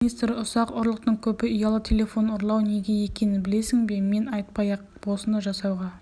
ақпарат министрі ұсақ ұрлықтың көбі ұялы телефон ұрлау неге екенін білесің бе мен айтпай-ақ осыны жасауға